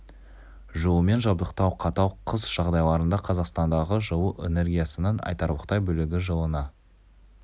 жылумен жабдықтау қатал қыс жағдайларында қазақстандағы жылу энергиясының айтарлықтай бөлігі жылына